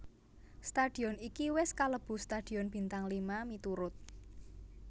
Stadion iki wis kalebu stadion bintang lima miturut